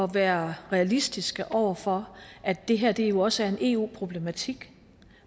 være realistiske over for at det her jo også er en eu problematik